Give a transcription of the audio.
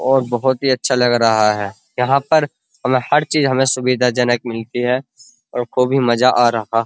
और बहुत ही अच्छा लग रहा है। यहाँ पर हमें हर चीज़ हमें सुविधाजनक मिलती है हम को भी मज़ा आ रहा --